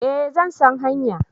Eh zan san hanya